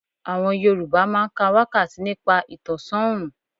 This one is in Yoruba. Àwọn Yorùbá máa ń ka wákàtí nípa ìtọ̀sán òrùn.